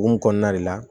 Hukumu kɔnɔna de la